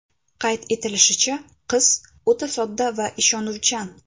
Qayd etilishicha, qiz o‘ta sodda va ishonuvchan.